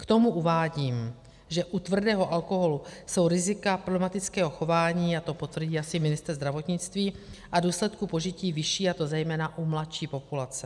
K tomu uvádím, že u tvrdého alkoholu jsou rizika problematického chování, a to potvrdí asi ministr zdravotnictví, a důsledku požití vyšší, a to zejména u mladší populace.